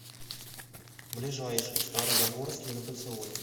ближайший стара загорский на кольцевой